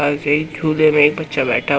पास एक झूले में एक बच्चा बैठा--